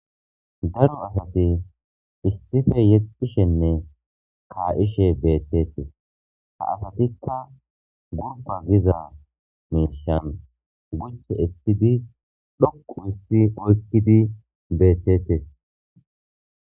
Daro asati isssipe shiiqidi yexxishene kaa'ishe beetetees. Ha asatika Gurba giza miishan guchche essidi dhoqqu histi oykidi beetetees.